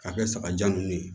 K'a kɛ sagajan ninnu ye